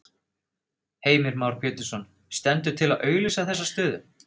Heimir Már Pétursson: Stendur til að auglýsa þessa stöðu?